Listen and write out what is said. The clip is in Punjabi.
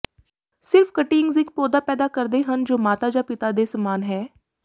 ਸਿਰਫ ਕਟਿੰਗਜ਼ ਇੱਕ ਪੌਦਾ ਪੈਦਾ ਕਰਦੇ ਹਨ ਜੋ ਮਾਤਾ ਜਾਂ ਪਿਤਾ ਦੇ ਸਮਾਨ ਹੈ